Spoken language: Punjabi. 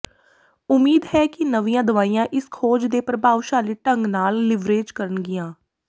ਉਮੀਦ ਹੈ ਕਿ ਨਵੀਂਆਂ ਦਵਾਈਆਂ ਇਸ ਖੋਜ ਦੇ ਪ੍ਰਭਾਵਸ਼ਾਲੀ ਢੰਗ ਨਾਲ ਲੀਵਰੇਜ ਕਰਨਗੀਆਂ